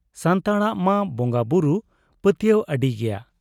ᱥᱟᱱᱛᱟᱲᱟᱜ ᱢᱟ ᱵᱚᱝᱜᱟ ᱵᱩᱨᱩ ᱯᱟᱹᱛᱭᱟᱹᱣ ᱟᱹᱰᱤ ᱜᱮᱭᱟ ᱾